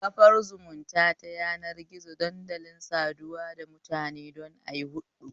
Kafar zumunta ta yanar gizo dandalin saduwa da mutane don ayi huɗɗu